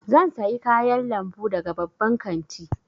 Zan sayi kayan lambu daga babban kanti.